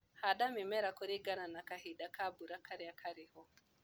Handa mĩmera kũringana na kahinda ka mbura karĩa karĩho.